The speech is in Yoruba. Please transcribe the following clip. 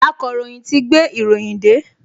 Akọ̀ròyìn ti gbé ìròyìn dé